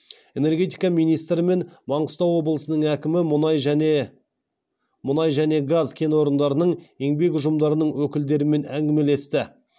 энергетика министрі мен маңғыстау облысының әкімі мұнай және газ кен орындарының еңбек ұжымдарының өкілдерімен әңгімелесті